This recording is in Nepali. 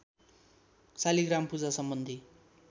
शालिग्राम पूजा सम्बन्धी